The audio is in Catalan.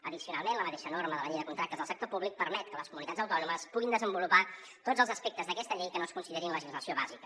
addicionalment la mateixa norma de la llei de contractes del sector públic permet que les comunitats autònomes puguin desenvolupar tots els aspectes d’aquesta llei que no es considerin legislació bàsica